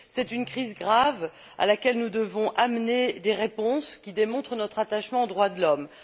C'est une crise grave, à laquelle nous devons amener des réponses qui démontrent notre attachement aux droits de l'homme.